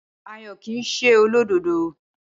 Ayọ̀ kii se olódodo